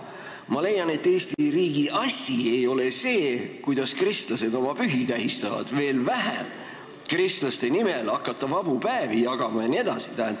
Ma leian, et Eesti riigi asi ei ole see, kuidas kristlased oma pühi tähistavad, veel vähem hakata kristlaste nimel vabu päevi jagama jne.